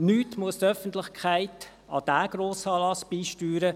Nichts muss die Öffentlichkeit an diesen Grossanlass beisteuern;